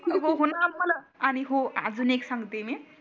अग हो णा मला आणि हो अजून एक एक सांगते मी